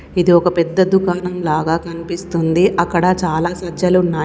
ఇది ఒక పెద్ద దుకాణం లాగా కన్పిస్తుంది అక్కడ చాలా సజ్జలున్నాయ్.